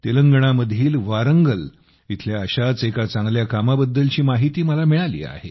तेलंगणामधील वारंगल इथल्या अशाच एका चांगल्या कामाबद्दलची माहिती मला मिळाली आहे